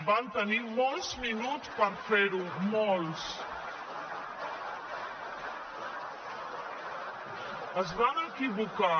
van tenir molts minuts per fer ho molts es van equivocar